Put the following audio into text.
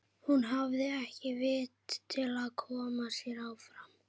Hún hafði ekki vit til að koma sér áfram.